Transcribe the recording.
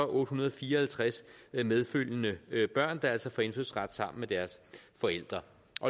otte hundrede og fire og halvtreds medfølgende børn der altså får indfødsret sammen med deres forældre